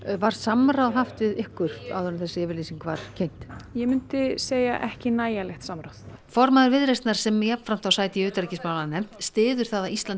var samráð haft við ykkur áður en þessi yfirlýsing var kynnt ég myndi segja ekki nægilegt samráð formaður Viðreisnar sem jafnframt á sæti í utanríkismálanefnd styður það að Ísland